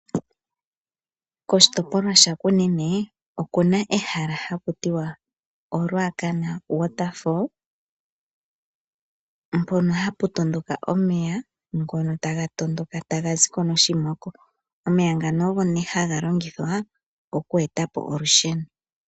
Koshitopolwa sha Kunene okuna ehala haku tiwa oRuacana waterfall mpono hapu tondoka omeya ngono taga tondoka taga ziko noshimoko, omeya ngano ogo nee haga longithwa oku etapo olusheno